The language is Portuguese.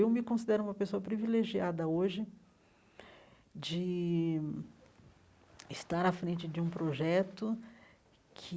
Eu me considero uma pessoa privilegiada hoje de estar à frente de um projeto que